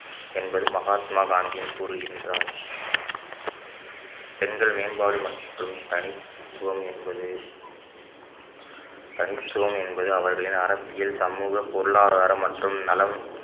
என்பது மகாத்மா காந்தி கூறுகின்றார் பெண்கள் மேம்பாடு மற்றும் தனித்துவம் என்பது தனித்துவம் என்பது அவர்களின் அரசியல் சமூக பொருளாதாரம் மற்றும் நலம்